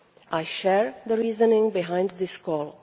I share the reasoning behind this call.